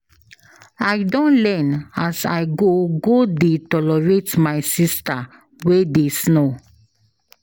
I don learn as I go go dey tolerate my sista wey dey snore.